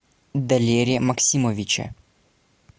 далере максимовиче